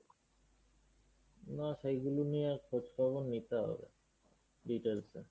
না সেগুলো নিয়ে আর খোঁজখবর নিতে হবে details এ